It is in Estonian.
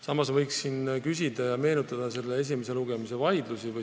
Samas võiks meenutada eelnõu esimese lugemise vaidlusi.